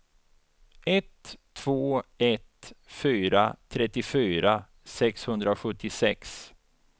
ett två ett fyra trettiofyra sexhundrasjuttiosex